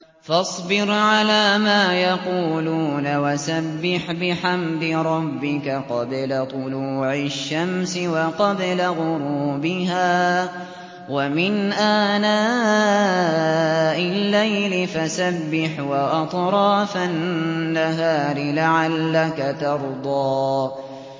فَاصْبِرْ عَلَىٰ مَا يَقُولُونَ وَسَبِّحْ بِحَمْدِ رَبِّكَ قَبْلَ طُلُوعِ الشَّمْسِ وَقَبْلَ غُرُوبِهَا ۖ وَمِنْ آنَاءِ اللَّيْلِ فَسَبِّحْ وَأَطْرَافَ النَّهَارِ لَعَلَّكَ تَرْضَىٰ